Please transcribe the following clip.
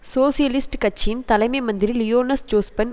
socialist கட்சியின் தலைமை மந்திரி லியோனஸ் ஜோஸ்பன்